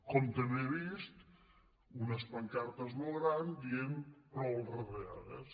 com també he vist unes pancartes molt grans que diuen prou retallades